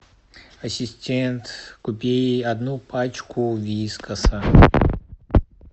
ассистент купи одну пачку вискаса